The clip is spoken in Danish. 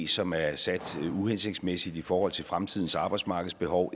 som er sat uhensigtsmæssigt i forhold til fremtidens arbejdsmarkedsbehov